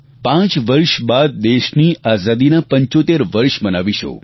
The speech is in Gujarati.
પાંચ વર્ષ બાદ દેશની આઝાદીના 75 વર્ષ મનાવીશું